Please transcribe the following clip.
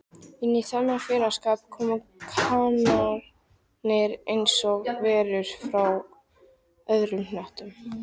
Inní þennan félagsskap komu kanarnir einsog verur frá öðrum hnöttum